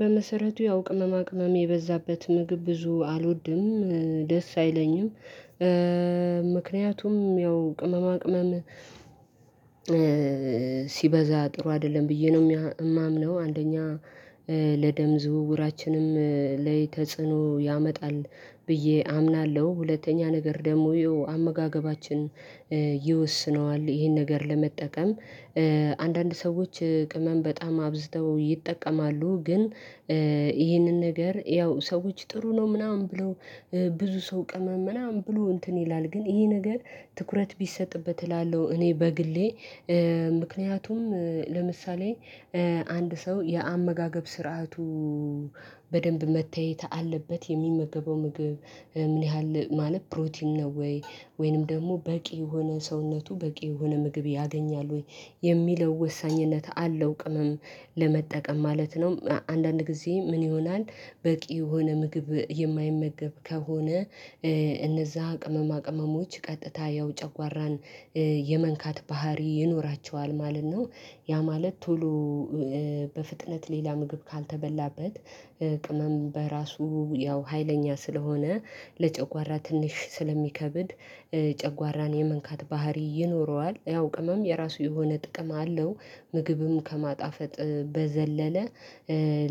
በመሰረቱ ያው ቅመማ ቅመም የበዛበት ምግብ ብዙ አልወድም ደስ አይለኝም። ምክንያቱም ያው ቅመማ ቅመም ሲበዛ ጥሩ አይደለም ብዬ ነው የማምነው። አንደኛ ለደም ዝውውራችንም ላይ ተጽዕኖ ያመጣል ብዬ አምናለሁ። ሁለተኛ ነገር ደግሞ አመጋገባችን ይወስነዋል ይሄን ነገር ለመጠቀም አንዳንድ ሰዎች ቅመም በጣም አብዝተው ይጠቀማሉ። ግን ይህንን ነገር ያው ሰዎች ጥሩ ነው ምናምን ብለው ብዙ ሰው ቅመም ምናምን ብሎ እንትን ይላል ግን ይሄ ነገር ትኩረት ቢሰጥበት እላለሁ። እኔ በግሌ ምክንያቱም ለምሳሌ አንድ ሰው የአመጋገብ ስርዓቱ በደንብ መታየት አለበት የሚመገበው ምግብ ምን ያህል ማለት ፕሮቲን ነው ወይ ወይንም ደግሞ በቂ የሆነ ሰውነቱ በቂ የሆነ ምግብ ያገኛል ወይ የሚለው ወሳኝነት አለው። ቅመም ለመጠቀም ማለት ነው። አንዳንድ ጊዜ ምን ይሆናል በቂ የሆነ ምግብ የማይመገብ ከሆነ እነዛ ቅመማ ቅመሞች ቀጥታ ያው ጨጓራን የመንካት ባህሪ ይኖራቸዋል ማለት ነው። ያ ማለት ቶሎ በፍጥነት ሌላ ምግብ ካልተበላበት ቅመም በራሱ ያው ሀይለኛ ስለሆነ ለጨጓራ ትንሽ ስለሚከብድ ጨጓራን የመንካት ባህሪ ይኖረዋል ያው ቅመም የራሱ የሆነ ጥቅም አለው። ምግብም ከማጣፈጥ በዘለለ